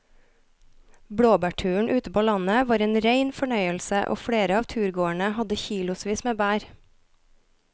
Blåbærturen ute på landet var en rein fornøyelse og flere av turgåerene hadde kilosvis med bær.